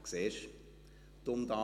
«Siehst du!